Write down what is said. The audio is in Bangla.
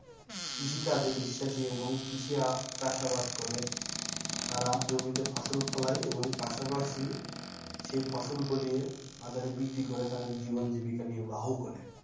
কৃষি কাজে বিশ্বাসী এবং কৃষি চাষাবাদ করে, তারা জমিতে ফসল ফলায় এবং পাশাপাশি সেই ফসল ফলিয়ে বাজারে বিক্রি করে তাদের জীবনজীবিকা নির্বাহ করে।